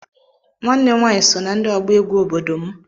Nwannem nwanyi so na ndi ogba egwu obodo mụ.